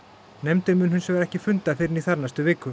nefndin mun hins vegar ekki funda fyrr en í þarnæstu viku